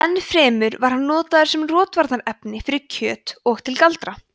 enn fremur var hann notaður sem rotvarnarefni fyrir kjöt og til galdra